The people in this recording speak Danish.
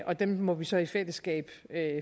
og dem må vi så i fællesskab